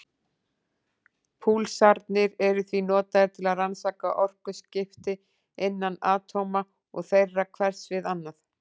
Púlsarnir eru því notaðir til að rannsaka orkuskipti innan atóma og þeirra hvers við annað.